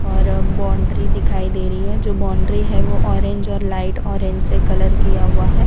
और बाउंड्री दिखाई दे रही है जो बाउंड्री है वो ऑरेंज और लाइट ऑरेंज से कलर किया हुआ है।